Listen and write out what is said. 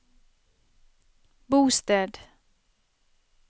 bosted